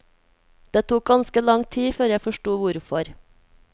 Det tok ganske lang tid før jeg forsto hvorfor.